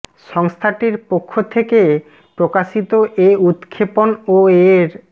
সংস্থাটির পক্ষ থেকে থেকে প্রকাশিত এ উৎক্ষেপণ ও এর